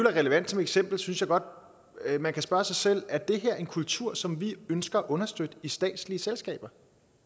er relevant som eksempel synes jeg godt at man kan spørge sig selv er det her en kultur som vi ønsker at understøtte i statslige selskaber